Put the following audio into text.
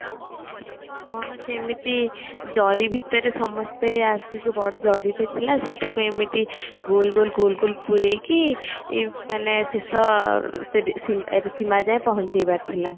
କଣ ସେମିତି ଜରି ଭିତରେ ସମସ୍ତେ ଆସିକି ବଡ ଜରିଟେ ଥିଲା ସେଇଠାକୁ ଏମିତି ଗୋଲ ଗୋଲ ପୁରେଇକି ମାନେ ଶେଷ ସୀମା ଯାଏ ପହଞ୍ଚେଇବାର ଥିଲା